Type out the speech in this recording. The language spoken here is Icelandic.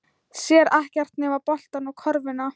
Sér ekkert nema boltann og körfuna.